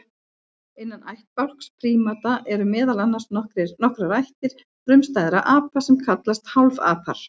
Innan ættbálks prímata eru meðal annars nokkrar ættir frumstæðra apa sem kallast hálfapar.